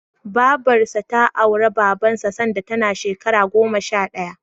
Babarsa ta auri Babansa sanda tana ƴar shekara goma sha ɗaya.